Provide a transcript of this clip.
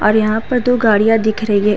और यहाँ पर दो गाड़ियां दिख रही है।